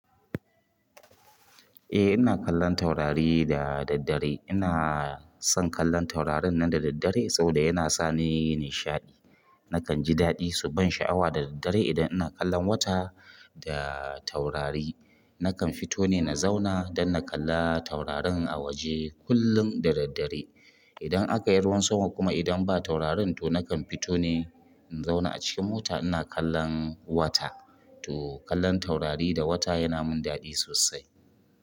Eh ina kallon taurari da daddare. Ina son kallon taurarin nan da daddare saboda yana sa ni nishaɗi. Nakan ji daɗi, su ban sha'awa da daddare idan ina kallon wata da taurari. Nakan fito ne na zauna don na kalla taurarin a waje kullum da daddare. Idan akayi ruwan sama kuma idan ba taurarin to nakan fito ne in zauna acikin mota ina kallon wata to kallon taurari da wata yana min daɗi sosai.